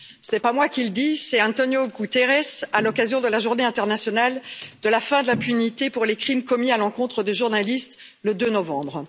Ce n'est pas moi qui le dis, c'est António Guterres, à l'occasion de la journée internationale de la fin de l'impunité pour les crimes commis à l'encontre des journalistes, le 2 novembre.